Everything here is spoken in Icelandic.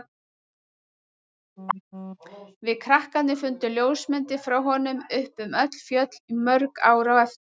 Við krakkarnir fundum ljósmyndir frá honum uppi um öll fjöll í mörg ár á eftir.